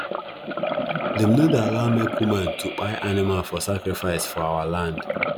them no dey allow make woman to kpai animal for sacrifice for our land